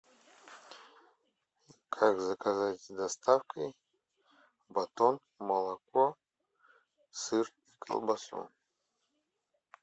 как заказать с доставкой батон молоко сыр колбасу